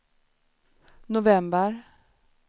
november